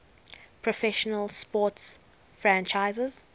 professional sports franchise